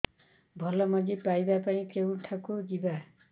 ଭଲ ମଞ୍ଜି ପାଇବା ପାଇଁ କେଉଁଠାକୁ ଯିବା